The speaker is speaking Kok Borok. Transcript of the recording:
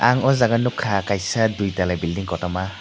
ang aw jaaga nugkha kaisa duitala building kotorma.